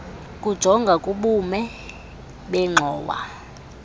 kujonga kubume bengxowa